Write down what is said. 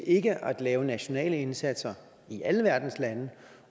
ikke at lave nationale indsatser i alle verdens lande